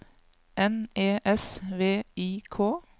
N E S V I K